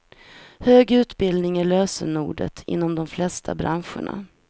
Hög utbildning är lösenordet inom de flesta branscherna.